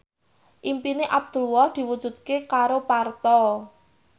impine Abdullah diwujudke karo Parto